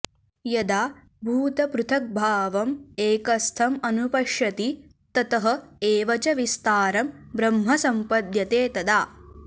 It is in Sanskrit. यदा भूतपृथग्भावम् एकस्थम् अनुपश्यति ततः एव च विस्तारं ब्रह्म सम्पद्यते तदा